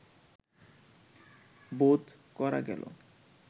বোধ করা গেল